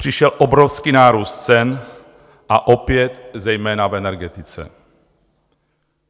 Přišel obrovský nárůst cen a opět zejména v energetice.